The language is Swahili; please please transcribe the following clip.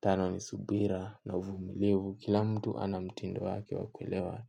Tano ni subira na uvumilivu kila mtu ana mtindo wake wa kuelewa